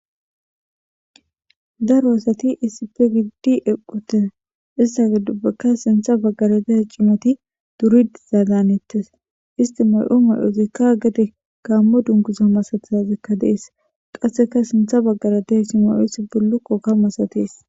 daro asati isipe eiddi equte issagi dubbakka sintha baggara de cimati duridi zaaganettes isti may7o may7oosikka gade kaammo dungusa masathazekka dees qasseka sintha baggara deha cima7oos bullokko ka masatees